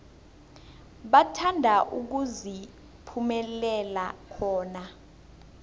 bathanda ukuziphumulela khona